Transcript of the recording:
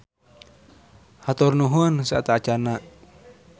Hatur nuhun sateuacanna.